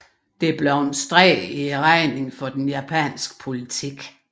Det blev en streg i regningen for den japanske politik